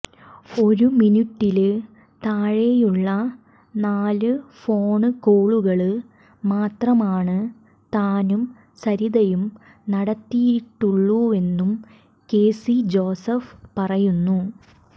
ഒരു മിനുറ്റില് താഴെയുള്ള നാല് ഫോണ് കോളുകള് മാത്രമാണ് താനും സരിതയും നടത്തിയിട്ടുള്ളൂവെന്നും കെസി ജോസഫ് പറയുന്നു